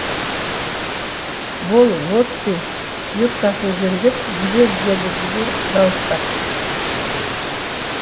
бол лотти юбкасын жөндеп жібер деді джо дауыстап